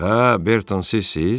Hə, Berton, sizsiz?